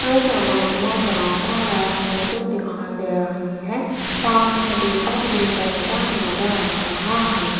इस इमेज में यहाँ पर एक मूर्ति दिखाई दे रही हैं सामने दीपक भी जलता ना जा रहा है।